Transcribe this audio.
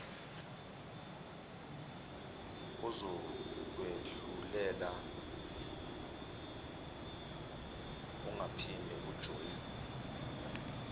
ozokwehlulela ungaphinde ujoyine